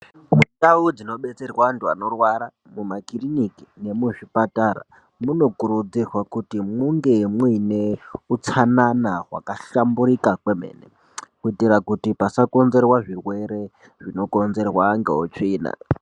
Ndau dzinobetserwa antu anorwara mumakiriniki nemuzvipatara munokurudzirwa kuti munge muine utsanana hwakahlamburika kwemene. Kuitira kuti pasakonzerwa zvirwere zvinokonzerwa ngeutsvina.